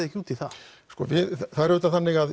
ekki út í það það er auðvitað þannig að